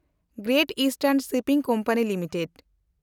great eastern shipping company limited